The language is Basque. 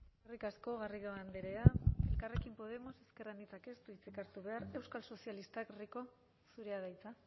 eskerrik asko garrido andrea elkarrekin podemos ezker anitzak ez du hitzik hartu behar euskal sozialistak rico zurea da hitza